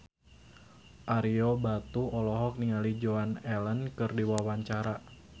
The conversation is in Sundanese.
Ario Batu olohok ningali Joan Allen keur diwawancara